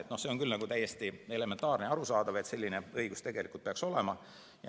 Nii et see on küll täiesti elementaarne ja arusaadav, et selline õigus peaks olema.